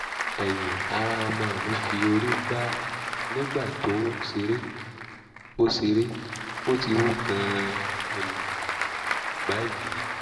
ẹ̀yin ará ọmọ mi fi orí gbá nígbà tó ń ṣeré; ó ṣeré; ó ti wú gan-an um báyìí